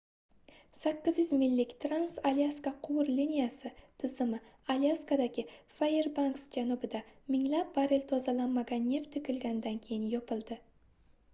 800 millik trans-alyaska quvur liniyasi tizimi alyaskadagi fairbanks janubida minglab barrel tozalanmagan neft toʻkilganidan keyin yopildi